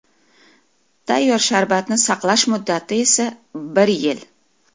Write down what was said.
Tayyor sharbatni saqlash muddati esa bir yil.